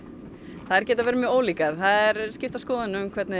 þær geta verið mjög ólíkar það eru skiptar skoðanir um hvernig